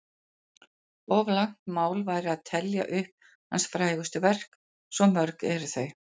Of langt mál væri að telja upp hans frægustu verk, svo mörg eru þau.